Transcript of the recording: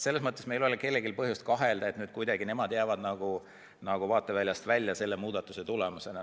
Selles mõttes meil ei ole kellelgi põhjust kahelda, et nad jäävad kuidagi nagu vaateväljast välja selle muudatuse tulemusena.